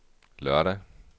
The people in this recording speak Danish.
lørdag